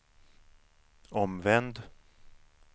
omvänd